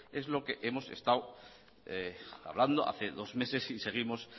es lo que hemos estado hablando hace dos meses y seguimos